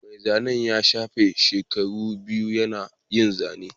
Mai zanen ya shafe shekaru biyu yana yin zane